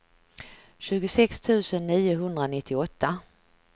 tjugosex tusen niohundranittioåtta